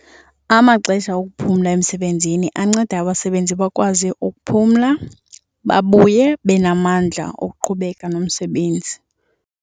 Amaxesha wokuphumla emsebenzini anceda abasebenzi bakwazi ukuphumla babuye benamandla okuqhubeka nomsebenzi.